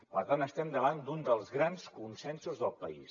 per tant estem davant d’un dels grans consensos del país